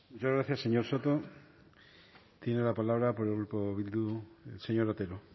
muchas gracias señor soto tiene la palabra por el grupo bildu señor otero